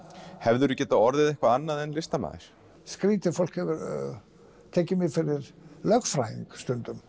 hefðirðu getað orðið eitthvað annað en listamaður skrítið fólk hefur tekið mig fyrir lögfræðing stundum